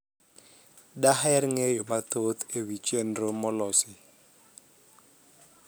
daher ng'eyo mathoth ewi chenro molosi